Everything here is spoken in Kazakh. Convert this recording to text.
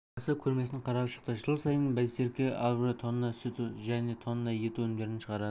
басы көрмесін қарап шықты жыл сайын байсерке агро тонна сүт және тонна ет өнімдерін шығарады